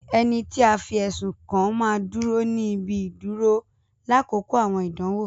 Ẹni tí a fi ẹsùn kàn máa ń dúró ní ibi ìdúró lákòókò àwọn ìdánwò